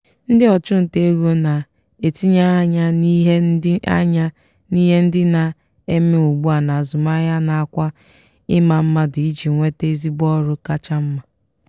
ndị ọchụnta ego na-etinye anya n'ihe ndị anya n'ihe ndị na-eme ugbua n'azụmahịa nakwa ịma mmadụ iji nweta ezigbo ọrụ kacha mma.